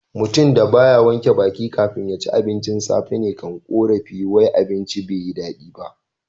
Mutum da ba ya wanke baki kafin ya ci abincin safe ne kan korafi wai abincin ba yi da dadi.